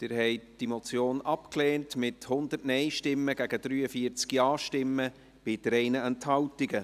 Sie haben diese Motion abgelehnt, mit 100 Nein- gegen 43 Ja-Stimmen bei 3 Enthaltungen.